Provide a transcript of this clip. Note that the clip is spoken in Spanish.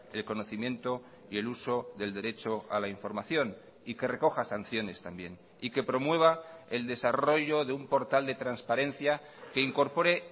el conocimiento y el uso del derecho a la información y que recoja sanciones también y que promueva el desarrollo de un portal de transparencia que incorpore